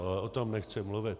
Ale o tom nechci mluvit.